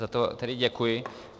Za to tedy děkuji.